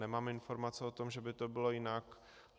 Nemám informace o tom, že by to bylo jinak.